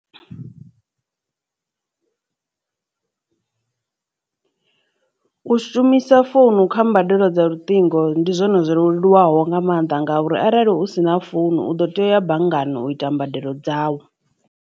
U shumisa founu kha mbadelo dza luṱingo ndi zwone zwo leluwaho nga maanḓa ngauri arali hu sina founu u ḓo tea u ya banngani u ita mbadelo dzau.